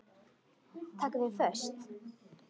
Taka þau föst?